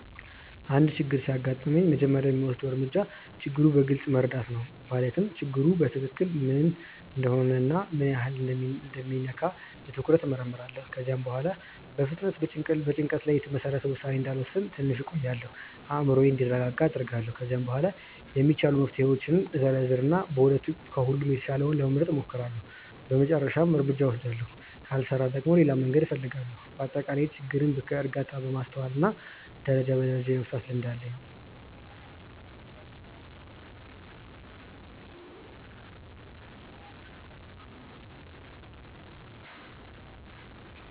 አንድ ችግር ሲያጋጥመኝ መጀመሪያ የምወስደው እርምጃ ችግሩን በግልጽ መረዳት ነው። ማለትም ችግሩ በትክክል ምን እንደሆነ እና ምን ያህል እንደሚነካ በትኩረት እመርምራለሁ። ከዚያ በኋላ በፍጥነት በጭንቀት ላይ የተመሰረተ ውሳኔ እንዳልወስን ትንሽ እቆያለሁ፤ አእምሮዬም እንዲረጋጋ አደርጋለሁ። ከዚያ በኋላ የሚቻሉ መፍትሄዎችን እዘረዝር እና ከሁሉም የተሻለውን ለመምረጥ እሞክራለሁ በመጨረሻም እርምጃውን እወስዳለሁ። ካልሰራ ደግሞ ሌላ መንገድ እፈልጋለሁ። በአጠቃላይ ችግርን በእርጋታ፣ በማስተዋል እና ደረጃ በደረጃ የመፍታት ልምድ አለኝ።